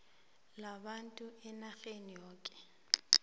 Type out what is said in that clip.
labantu enarheni yokana